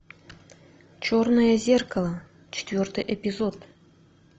черное зеркало четвертый эпизод